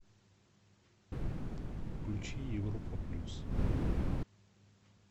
включи европа плюс